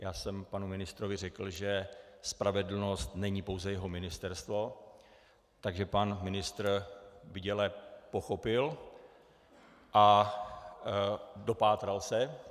Já jsem panu ministrovi řekl, že spravedlnost není pouze jeho ministerstvo, takže pan ministr bděle pochopil a dopátral se.